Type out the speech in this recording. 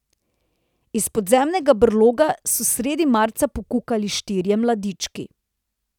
Iz podzemnega brloga so sredi marca pokukali štirje mladiči.